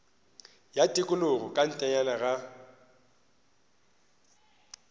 ya tikologo ka ntlenyana ga